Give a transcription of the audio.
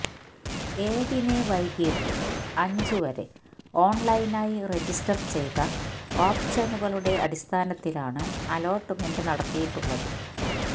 ഏഴിന് വൈകിട്ട് അഞ്ചുവരെ ഓണ്ലൈനായി രജിസ്റ്റര് ചെയ്ത ഓപ്ഷനുകളുടെ അടിസ്ഥാനത്തിലാണ് അലോട്ട്മെന്റ് നടത്തിയിട്ടുള്ളത്